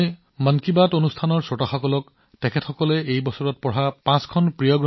মই মন কী বাতৰ দৰ্শকসকলক আপোনাৰ বছৰটোৰ পাঁচখন কিতাপৰ বিষয়ে আপোনাক কবলৈ কম যিবোৰ আপোনাৰ প্ৰিয় আছিল